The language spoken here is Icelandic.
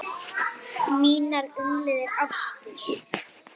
Mínar umliðnu ástir